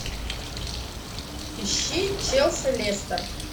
ищи челси лестер